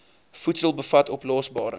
voedsel bevat oplosbare